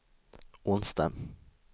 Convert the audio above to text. onsdag